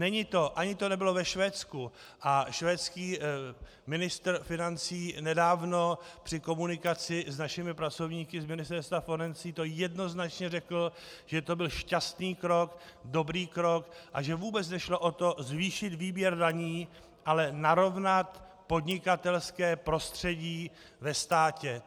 Není to ani to nebylo ve Švédsku, a švédský ministr financí nedávno při komunikaci s našimi pracovníky z Ministerstva financí to jednoznačně řekl, že to byl šťastný krok, dobrý krok, a že vůbec nešlo o to zvýšit výběr daní, ale narovnat podnikatelské prostředí ve státě.